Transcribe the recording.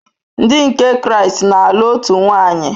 Ndi nke Kraịst na-alụ otu nwaanyị.